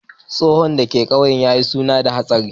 Tsoron da ka kauye na suna da hatsari.